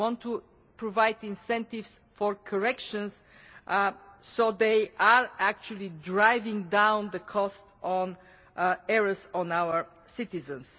We want to provide incentives for corrections so they are actually driving down the cost on errors on our citizens.